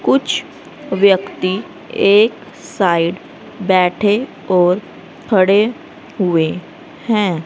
कुछ व्यक्ति एक साइड बैठे और खड़े हुए हैं।